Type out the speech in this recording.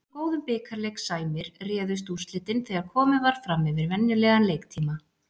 Eins og góðum bikarleik sæmir, réðust úrslitin þegar komið var fram yfir venjulegan leiktíma.